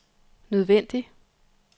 nødvendig